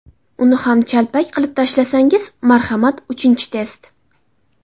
Uni ham chalpak qilib tashlasangiz, marhamat uchinchi test.